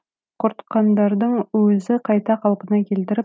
құртқандардың өзі қайта қалпына келтіріп